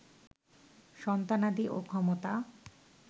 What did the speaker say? সন্তানাদি ও ক্ষমতা